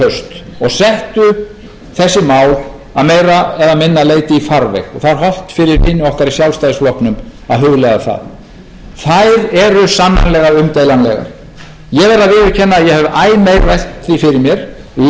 í haust og settu þessi mál að meira eða minna leyti í farveg og það er hollt fyrir vini okkar í sjálfstæðisflokknum að hugleiða það þær eru sannarlega umdeilanlegar ég verð að viðurkenna að ég hef æ meira velt því fyrir mér lentu